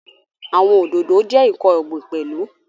Àwọn Òdòdó jẹ́ ǹkan ọ̀gbìn pẹ̀lú